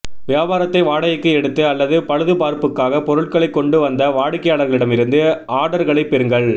வியாபாரத்தை வாடகைக்கு எடுத்து அல்லது பழுதுபார்ப்புக்காக பொருட்களை கொண்டு வந்த வாடிக்கையாளர்களிடமிருந்து ஆர்டர்களைப் பெறுங்கள்